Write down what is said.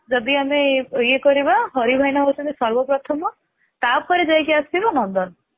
ଯଦି ଆମେ ଇଏ କରିବା ହଋ ଭାଇନା ହେଉଛନ୍ତି ସର୍ବ ପ୍ରଥମ ତାପରେ ଯାଇକି ଆସିବ ନନ୍ଦନ